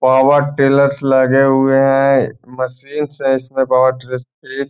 Power tillers लगे हुए हैं। मशीन से इसमे --